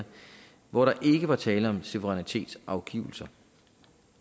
hvor der ikke var tale om suverænitetsafgivelse